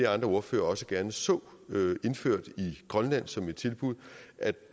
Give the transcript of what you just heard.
andre ordførere også gerne så indført i grønland som et tilbud